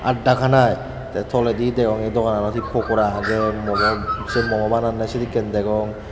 at dakanai te toledi ei dogananot ho pokora agey momo sei momo bananney sedekken degong.